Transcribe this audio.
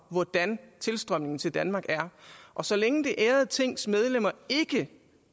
hvordan tilstrømningen til danmark er og så længe det ærede tings medlemmer ikke